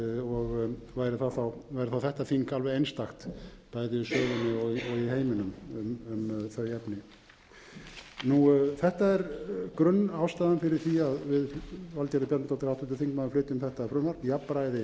og væri það þá þetta þing alveg einstakt bæði í sögunni og heiminum um þau efni þetta er grunnástæðan fyrir því að við valgerður bjarnadóttir háttvirtur þingmaður flytjum þetta frumvarp jafnræði